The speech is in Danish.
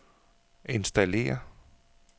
installér